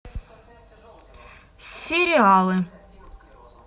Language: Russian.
сериалы